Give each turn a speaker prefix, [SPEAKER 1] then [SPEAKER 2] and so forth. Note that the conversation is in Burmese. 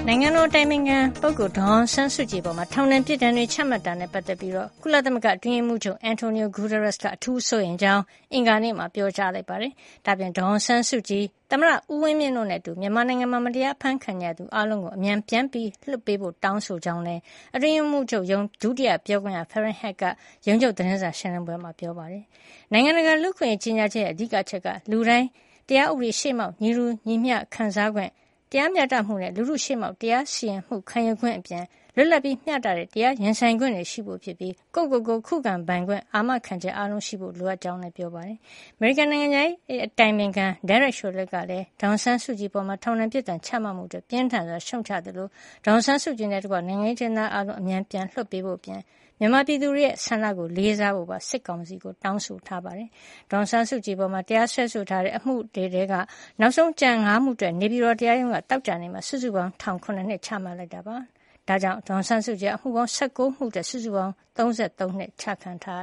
[SPEAKER 1] နိုင်ငံတော်အတိုင်ပင်ခံ ဒေါ်အောင်ဆန်းစုကြည်အပေါ် ထောင်ဒဏ် အပြစ်ဒဏ်တွေ ချမှတ်တာနဲ့ ပတ်သက်ပြီး ကုလသမဂ္ဂအတွင်းရေးမှူးချုပ် Antonio Guterres က အထူးစိုးရိမ်ကြောင်း ကုလသမဂ္ဂက အင်္ဂါနေ့မှာ ပြောကြားလိုက်ပါတယ်။ ဒါ့အပြင် ဒေါ်အောင်ဆန်းစုကြည်၊ သမ္မတ ဦးဝင်းမြင့်တို့နဲ့အတူ မြန်မာနိုင်ငံမှာ မတရား အဖမ်းဆီးခံနေရသူ အားလုံးကို အမြန်ပြန်လွှတ်ပေးဖို့ တောင်းဆိုကြောင်းလည်း ကုလအတွင်းရေးမှုးချုပ်ရုံး ဒုတိယပြောခွင့်ရ Farhan Haq က ရုံးချုပ် သတင်းစာရှင်းလင်းပွဲမှာ ပြောပါတယ်။ နိုင်ငံတကာ လူ့အခွင့်ရေးကြေညာချက်ရဲ့ အဓိကအချက်က လူတိုင်း တရားဥပဒေရှေ့မှောက် ညီတူညီမျှ ခံစားခွင့်၊ တရားမျှတမှုနဲ့ လူထုရှေ့မှောက် တရားစီရင်မှု ခံယူခွင့်အပြင် လွတ်လပ်ပြီးမျှတတဲ့ တရား ရင်ဆိုင်ခွင့်တွေ ရှိဖို့ဖြစ်ပြီး ကိုယ့်ကိုယ်ကို ခုခံပိုင်ခွင့် အာမခံချက် အားလုံးရှိဖို့ လိုအပ်ကြောင်းလည်း ပြောကြားခဲ့ပါတယ်။ အမေရိကန်နိုင်ငံခြားရေး အတိုင်ပင်ခံ Derek Chollet ကလည်း ဒေါ်အောင်ဆန်းစုကြည်အပေါ် ထောင်ဒဏ်ပြစ်ဒဏ် ချမှတ်မှုအတွက် ပြင်းထန်စွာ ရှုတ်ချသလို ဒေါ်အောင်ဆန်းစုကြည်နဲ့တကွ နိုင်ငံရေးအကျဉ်းသား အားလုံးကို အမြန် ပြန်လွှတ်ပေးဖို့အပြင် မြန်မာပြည်သူတွေရဲ့ဆန္ဒကို လေးစားဖို့လည်း စစ်ကောင်စီကို တောင်းဆိုထားတာပါ။ ဒေါ်အောင်ဆန်းစုကြည်အပေါ် တရားစွဲထားတဲ့ အမှုတွေထဲက နောက်ဆုံးကျန် ၅ မှုအတွက် နေပြည်တော်တရားရုံးက သောကြာနေ့မှာ စုစုပေါင်းထောင်ဒဏ် ၇ နှစ် ချလိုက်တာပါ။ ဒ့ါကြောင့် ဒေါ်အောင်ဆန်းစုကြည်ဟာ အမှုပေါင်း ၁၉ မှုအတွက် စုစုပေါင်း ထောင်ဒဏ် ၃၃
[SPEAKER 2] နှစ် ချခံထားရ